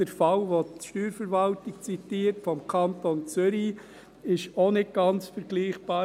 Auch der Fall, den die Steuerverwaltung zitiert, aus dem Kanton Zürich, ist nicht ganz vergleichbar.